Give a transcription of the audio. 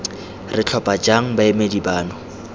re tlhopha jang baemedi bano